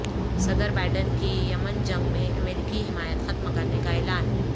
صدر بائیڈن کی یمن جنگ میں امریکی حمایت ختم کرنے کا اعلان